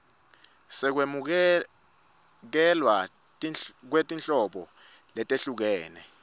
sekwamukelwa kwetinhlobo letahlukene